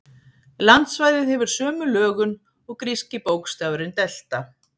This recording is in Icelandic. Landsvæðið hefur sömu lögun og gríski bókstafurinn delta.